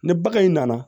Ni bagan in nana